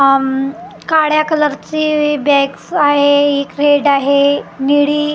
उम्म काळ्या कलरची बॅग्ज आहे हि रेड आहे निळी आह--